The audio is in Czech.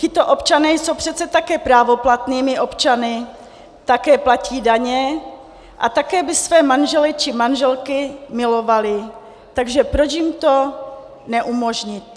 Tito občané jsou přece také právoplatnými občany, také platí daně a také by své manžele či manželky milovali, takže proč jim to neumožnit?